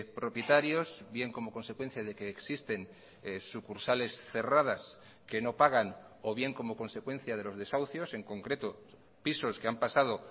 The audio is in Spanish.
propietarios bien como consecuencia de que existen sucursales cerradas que no pagan o bien como consecuencia de los desahucios en concreto pisos que han pasado